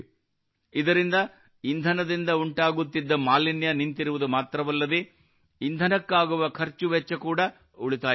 ಇದರಿಂದ ಇಂಧನದಿಂದ ಉಂಟಾಗುತ್ತಿದ್ದ ಮಾಲಿನ್ಯ ನಿಂತಿರುವುದು ಮಾತ್ರವಲ್ಲದೇ ಇಂಧನಕ್ಕಾಗುವ ಖರ್ಚು ವೆಚ್ಚ ಕೂಡಾ ಉಳಿತಾಯವಾಗುತ್ತಿದೆ